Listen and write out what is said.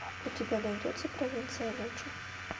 у тебя найдется провинция ночи